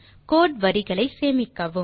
கோடு வரிகளை சேமிக்கவும்